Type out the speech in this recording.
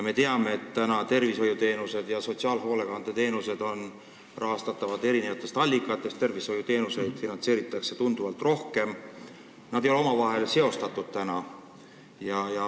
Me teame, et tervishoiuteenuseid ja sotsiaalhoolekandeteenuseid rahastatakse eri allikatest, tervishoiuteenuseid finantseeritakse tunduvalt rohkem ja need teenused ei ole omavahel seostatud.